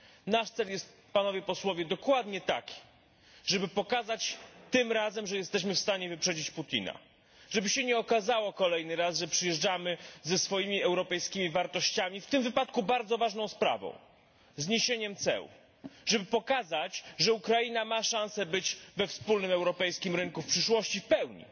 Nasz cel jest, Panowie Posłowie, dokładnie taki żeby pokazać tym razem, że jesteśmy w stanie wyprzedzić Putina, żeby się nie okazało kolejny raz, że przyjeżdżamy ze swoimi europejskimi wartościami, w tym wypadku bardzo ważną sprawą zniesieniem ceł, żeby pokazać, że Ukraina ma szansę być we wspólnym europejskim rynku w przyszłości w pełni.